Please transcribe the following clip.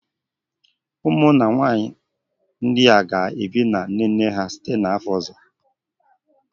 Ụmụnna nwanyị ndị a ga-ebi na nne nne ha site n'afọ ọzọ